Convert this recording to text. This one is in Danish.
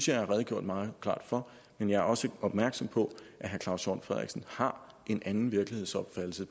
jeg har redegjort meget klart for men jeg er også opmærksom på at herre claus hjort frederiksen har en anden virkelighedsopfattelse